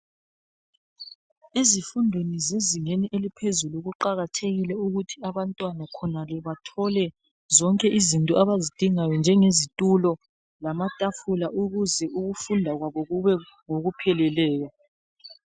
Ezifundweni zezingeni eliphezulu kuqakathekile ukuthi abantwana khonale bathole zonke izinto abazidingayo njengezitulo lamatafula ukuze ukufunda kwabo kube ngokupheleleyo.